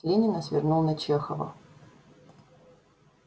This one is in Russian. с ленина свернул на чехова